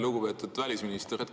Lugupeetud välisminister!